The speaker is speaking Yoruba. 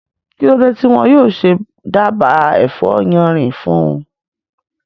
Kí ló dé tí wọn yóò ṣe dába ẹ̀fọ́ yánrin fún un?